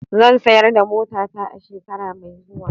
Zan sayar da motata a shekara mai zuwa.